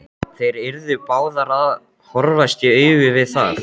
Þær yrðu báðar að horfast í augu við það.